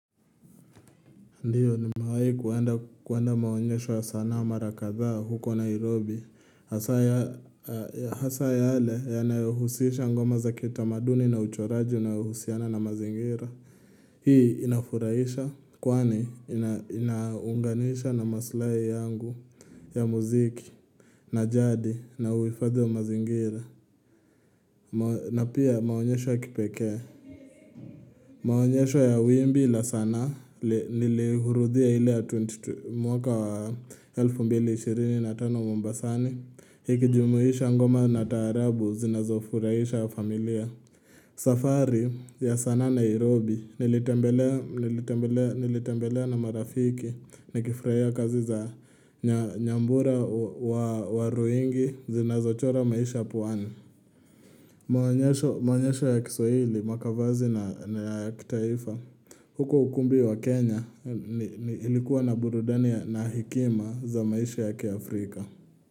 Ndiyo nimewahi kuenda kuenda maonyesho ya sanaa mara kadhaa huko Nairobi, hasa ya yale yanaohusisha ngoma za kitamaduni na uchoraji na uhusiana na mazingira. Hii inafurahisha, kwani ina inaunganisha na maslahi yangu ya muziki, na jadi, na uhifadhi ya mazingira, na pia maonyesho ya kipekee Maonyesho ya wimbi la sanaa nilihurudhia ile ya 22 mwaka wa elfu mbili ishirini na tano Mombasani ikijumuisha ngoma na taarabu zinazo furahisha ya familia safari ya sanaa Nairobi nilitembelea nilitembelea, nilitembelea na marafiki Nikifurahia kazi za nya Nyambura wa waruingi zinazo chora maisha puani Maonyesho ya kiswahili, Makavazi na ya kitaifa huko ukumbi wa Kenya ni ni ilikuwa na burudani ya na hekima za maisha ya kiafrika.